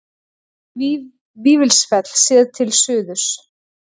Vífilsfell séð til suðurs.